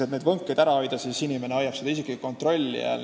Et neid võnkeid ära hoida, hoiab inimene seda kontrolli all.